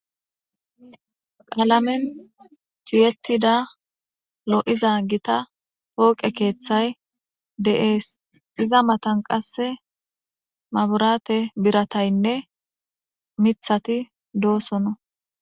qaalamen tiyetida lo'iza gita pooqe keeththay de'ees iza matan qasse maburaate birataynne mithati doosona